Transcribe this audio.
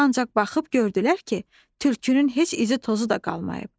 Ancaq baxıb gördülər ki, tülkünün heç izi-tozu da qalmayıb.